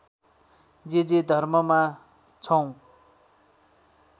जे जे धर्ममा छौँ